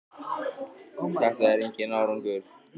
Er þetta enginn árangur?